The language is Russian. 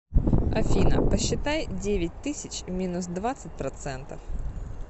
афина посчитай девять тысяч минус двадцать процентов